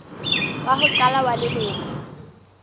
wa ho qala wa leloko